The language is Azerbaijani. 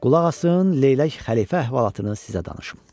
Qulaq asın, Leylək xəlifə əhvalatını sizə danışım.